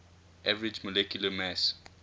average molecular mass